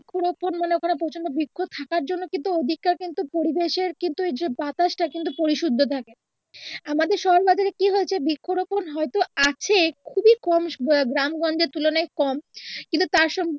বৃক্ষ রোপন মানে ওইখানে প্রচণ্ড বৃক্ষ থাকার জন্য কিন্তু ও দিকটার কিন্তু পরিবেশের কিন্তু এই যে বাতাসটা কিন্তু পরিশুদ্ধ থাকে আমাদের সমাজে কি হয়েছে বৃক্ষ রোপন হয়তো আছে খুবিই কম গ্রামগঞ্জের তুলনায় কম কিন্তু তার সম